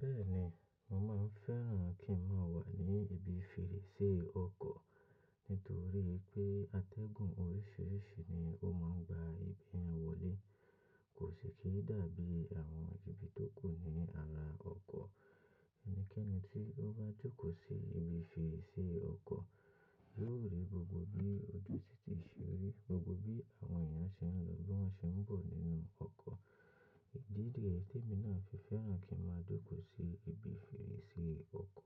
Bẹ́ẹ̀ ni, mo máa ń fẹ́ràn kí n máa wà ní ibi fèrèsé ọkọ̀ nítorí pé atẹ́gùn oríṣìíríṣìí ni ó máa ń gba ibe yen wọlé. Kò sì kí í dàbí àwọn ibi tó kù ní ara ọkọ̀. Ẹnikẹ́ni tí ó bá jókòó sí ibi fèrèsé ọkọ̀ yóò rí gbogbo bí ojú títí se rí, gbogbo bí àwọn èèyàn se ń lọ, bí wọ́n se ń bọ̀ nínú ọkọ̀. Ìdí niyen tí èmi náà fi fẹ́ràn kí n máa jókòó sí ibi fèrèsé ọkọ̀.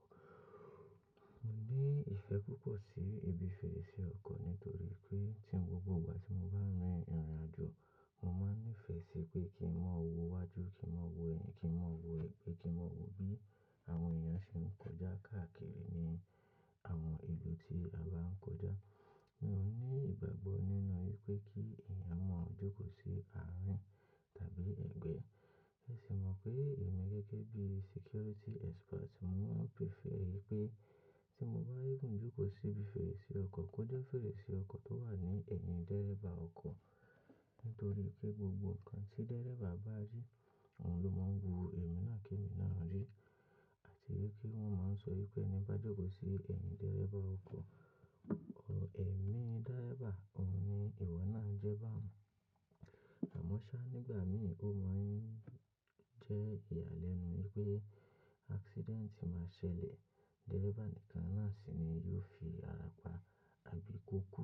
Mo ní ìfẹ́ púpọ̀ sí ibi fèrèsé ọkọ̀ nítorí pé tí gbogbo ìgbà tí mo bá rin ìrìnàjò, mo máa ń nífẹ̀ẹ́ sí pé kí n máa wo iwájú, kí n máa wo ẹ̀yìn, kí n máa wo ègbé, kí n máa wo bí àwọn èèyàn ṣe ń kọjá káàkiri ní àwọn ìlú tí a bá ń kọjá. Mi ò ní ìgbàgbọ́ nínú pé kí èèyàn mọ̀ jókòó sí àárín tàbí ẹ̀gbẹ́. Ẹ sì mọ̀ pé èmi gẹ́gẹ́ bí security expert, mo máa ń prefer ẹ pé tí mo bá rí gun jókòó sí ibi fèrèsé ọkọ̀, kó jẹ́ fèrèsé ọkọ̀ tó wà ní ẹ̀yìn dẹ́ríbà ọkọ̀. Nítorí pé gbogbo ǹkan tí dẹ́ríbà bá rí, òun ló máa ń wo èmi náà kí èmi náà rí. Àti kí wọ́n máa ń sọ yín pé ẹni bá jókòó sí ẹ̀yìn dẹ́ríbà ọkọ̀, ọ̀ ẹ̀mí dẹ́ríbà, òun ni ìwọ náà jẹ́ bá à mọ́. À mọ́ ṣá, nígbà mìíràn ó máa ń jẹ́ ìyàlẹ́nu yín pé accident máa ṣẹlẹ̀, dẹ́ríbà nìkan náà sì ni yóò fi ara pa àbí kó kú.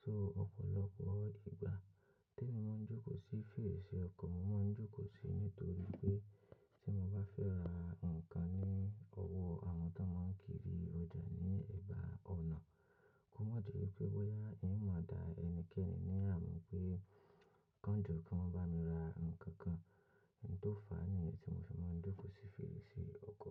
So ọ̀pọ̀lọpọ̀ ìgbà tí èmi máa ń jókòó sí fèrèsé ọkọ̀, mo máa ń jókòó sí nítorí pé tí mo bá fẹ́ ra nǹkan ní ọwọ́ àwọn tó máa ń kiri ọjà ní ẹ̀bá ọ̀nà, kó má ṣe pé bóyá ìyẹn mọ̀ dá ẹnikẹ́ni la mú pé kánjo kí wọ́n bá mi ra ǹkan kan. N tó fàá nìyẹn tí mo fi máa ń jókòó sí fèrèsé ọkọ̀.